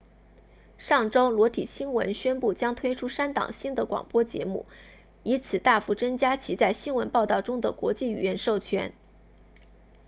上周裸体新闻 naked news 宣布将推出三档新的广播节目以此大幅增加其在新闻报道中的国际语言授权